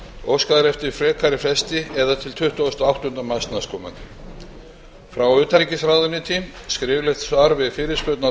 óskað er eftir frekari fresti til tuttugasta og áttunda mars næstkomandi frá utanríkisráðuneyti skriflegt svar við fyrirspurn á